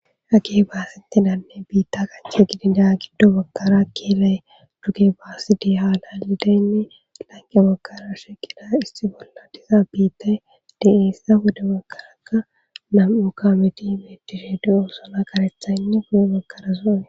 Hagee baaseththidanne biiththaa giddo gidida giddo baggara keelay pude baasi diyanne ethappe ya baggara issi kameththida biiththay de7ees;appe gede baggarakka nam7u kaameethi beeththishe de7oosona;kareththaynne guye baggara qa...